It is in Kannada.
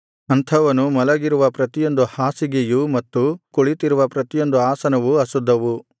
ಅಂಥವನು ಮಲಗಿರುವ ಪ್ರತಿಯೊಂದು ಹಾಸಿಗೆಯೂ ಮತ್ತು ಕುಳಿತಿರುವ ಪ್ರತಿಯೊಂದು ಆಸನವೂ ಅಶುದ್ಧವು